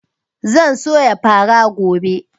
Zan soya fara gobe